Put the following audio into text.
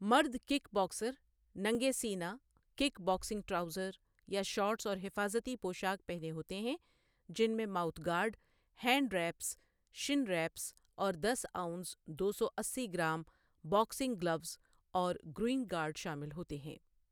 مرد kick boxer ننگے سینہ کِک باکسنگ ٹراؤزر یا شارٹس اور حفاظتی پوشاک پہنے ہوتے ہیں جن میں mouth guard, hand wraps, shin wraps, اور دس آونس دو سو اسی گرام باکسنگ گلوز اور گروئن گارڈ شامل ہوتے ہیں۔